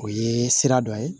O ye sira dɔ ye